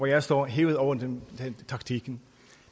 jeg står er hævet over taktikken